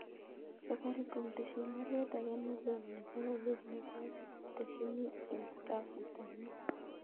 Safaricom tesyin baruet age nelelach nebo Korir nekoo atesyi en kasit ab mut